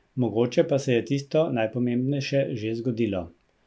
Mogoče pa se je tisto najpomembnejše že zgodilo.